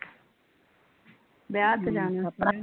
ਵਿਆਹ ਤੇ ਜਾਣਾ